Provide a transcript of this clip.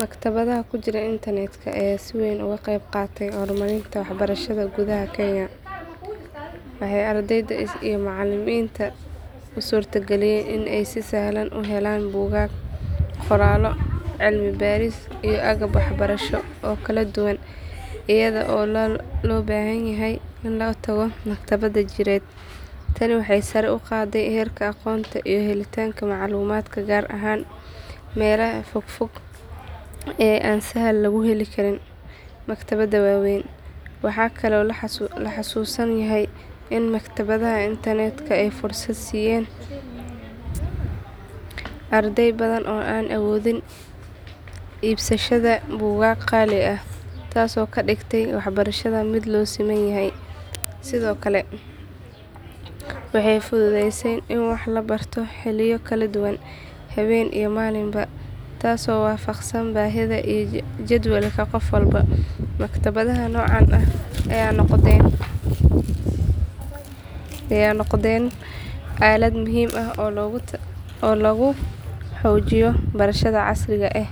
Maktabadaha ku jira internetka ayaa si weyn uga qeyb qaatay horumarinta waxbarashada gudaha kenya. Waxay ardayda iyo macallimiinta u suurtageliyeen in ay si sahlan u helaan buugaag, qoraallo, cilmi baaris iyo agab waxbarasho oo kala duwan iyada oo aan loo baahnayn in la tago maktabad jireed. Tani waxay sare u qaaday heerka aqoonta iyo helitaanka macluumaadka gaar ahaan meelaha fog fog ee aan sahal lagu heli karin maktabado waaweyn. Waxaa kaloo la xasuusan yahay in maktabadaha internetka ay fursad siiyeen arday badan oo aan awoodin iibsashada buugaag qaali ah, taasoo ka dhigtay waxbarashada mid loo siman yahay. Sidoo kale waxay fududeysay in wax la barto xilliyo kala duwan, habeen iyo maalinba, taasoo waafaqsan baahida iyo jadwalka qof walba. Maktabadaha noocaan ah ayaa noqday aalad muhiim ah oo lagu xoojiyo barashada casriga ah,